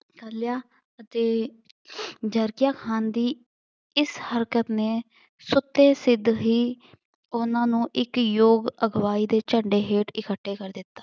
ਅਤੇ ਜਰਕੀਆਂ ਖਾਨ ਦੀ ਇਸ ਹਰਕਤ ਨੇ ਸੁੱਤੇ ਸਿੱਧ ਹੀ ਉਹਨਾਂ ਨੂੰ ਇੱਕ ਯੋਗ ਅਗਵਾਈ ਦੇ ਝੰਡੇ ਹੇਠ ਇਕੱਠੇ ਕਰ ਦਿੱਤਾ